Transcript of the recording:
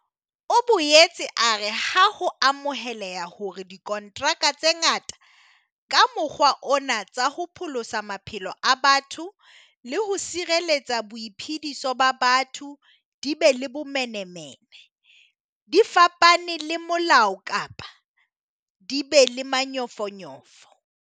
O boetse a re ha ho amoheleha hore dikontraka tse ngata ka mokgwa ona tsa ho pholosa maphelo a batho le ho sireletsa boiphediso ba batho di be le bomenemene, di fapane le molao kapa di be le manyofonyofo.